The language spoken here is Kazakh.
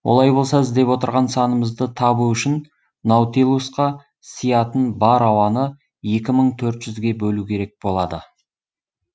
олай болса іздеп отырған санымызды табу үшін наутилусқа сиятын бар ауаны екі мың төрт жүзге бөлу керек болады